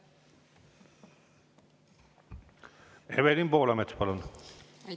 Evelin Poolamets, palun!